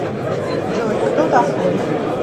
джой кто такой